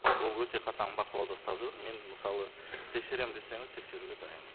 ол өте қатаң бақылауда ұстап жүр мен мысалы тексеремін десеңіз тексеруге дайынмын